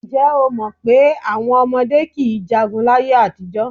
Ǹjẹ́́ o mọ̀ pé àwọn ọmọdé kì í jagun láyé-àtijọ́?